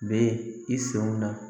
Bɛ i sɔnw na